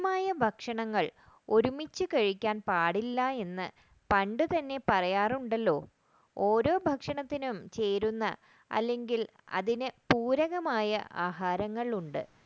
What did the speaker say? കുറെ ഭക്ഷണങ്ങൾ ഒരുമിച്ച് കഴിക്കാൻ പാടില്ല എന്ന് പണ്ടുതന്നെപറയാറുണ്ടല്ലോ ഓരോ ഭക്ഷണത്തിനും ചേരുന്ന അല്ലെങ്കിൽ അതിന് പൂരകമായ ആഹാരങ്ങൾ ഉണ്ട്